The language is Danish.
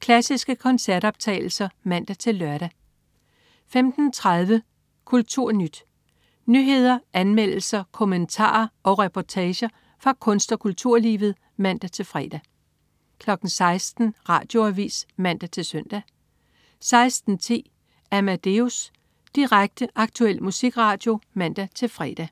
Klassiske koncertoptagelser (man-lør) 15.30 KulturNyt. Nyheder, anmeldelser, kommentarer og reportager fra kunst- og kulturlivet (man-fre) 16.00 Radioavis (man-søn) 16.10 Amadeus. Direkte, aktuel musikradio (man-fre)